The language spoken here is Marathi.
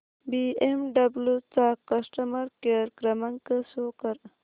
बीएमडब्ल्यु चा कस्टमर केअर क्रमांक शो कर